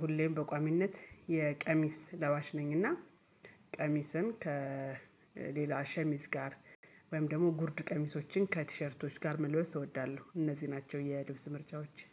ሁሌም በቋሚነት የቀሚስ ለባሽ ነኝና ቀሚስን ከሌላ ሸሚዝ ጋር ወይም ደሞ ጉርድ ቀሚሶችን ከቲሸርቶች ጋር መልበስ እወዳለሁ። እነዚህ ናቸው የልብስ ምርጫወቼ